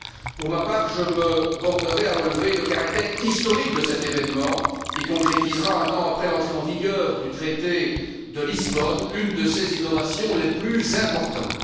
Pour ma part, je me bornerai à relever le caractère historique de cet événement qui concrétisera, un an après l'entrée en vigueur du traité de Lisbonne, une de ses innovations les plus importantes.